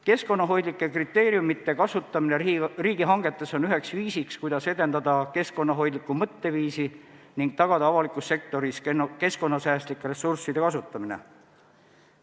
Keskkonnahoidlike kriteeriumite kasutamine riigihangetes on üheks viisiks, kuidas edendada keskkonnahoidlikku mõtteviisi ning tagada avalikus sektoris keskkonnasäästlike ressursside kasutamine.